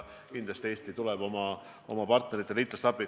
Kindlasti tuleb Eesti oma partneritele, liitlastele appi.